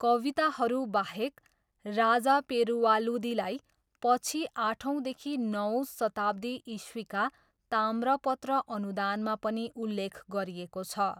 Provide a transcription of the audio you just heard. कविताहरू बाहेक, राजा पेरुवालुदीलाई पछि आठौँदेखि नवौँ शताब्दी इस्वीका ताम्रपत्र अनुदानमा पनि उल्लेख गरिएको छ।